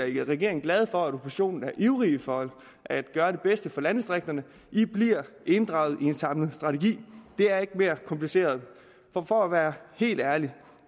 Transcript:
i regeringen glade for at oppositionen er ivrige for at gøre det bedste for landdistrikterne i bliver inddraget i en samlet strategi det er ikke mere kompliceret og for at være helt ærlig